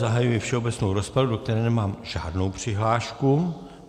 Zahajuji všeobecnou rozpravu, do které nemám žádnou přihlášku.